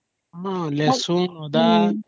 ହଁ